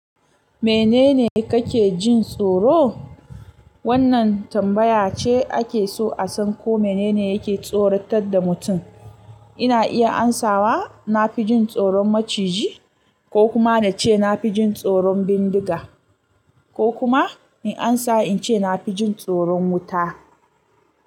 Menene kake jin tsoro? Wannan tambaya ce ake so a san ko menene yake tsoratar da mutum. Ina iya amsawa na fi jin tsoron maciji ko kuma na ce na fi jin tsoron bindiga ko kuma in amsa in ce na fi jin tsoron wuta.